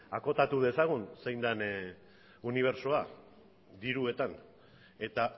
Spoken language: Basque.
akotatu dezagun zein den unibertsoa diruetan eta